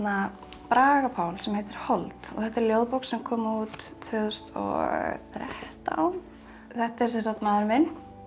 Braga Pál sem heitir hold þetta er ljóðabók sem kom út tvö þúsund og þrettán þetta er sem sagt maðurinn minn